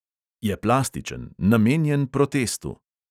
Je plastičen, namenjen protestu.